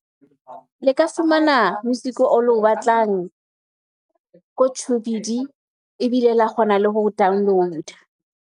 Le ka fumana music o lo batlang ko , ebile la kgona le ho download-a.